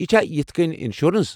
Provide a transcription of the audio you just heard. یہِ چھا یتھہٕ كٕنۍ انشورنس ؟